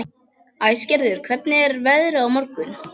Æsgerður, hvernig er veðrið á morgun?